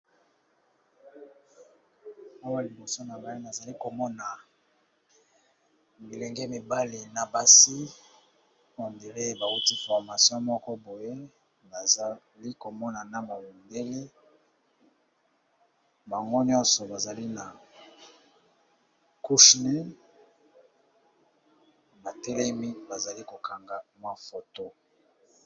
Awa liboso na ngai nazali komona bilenge mibale na basi on dirait bauti formation moko boye, bazali komona na mundele bango nyonso bazali na couche nez batelemi bazali kokanga mwa foto.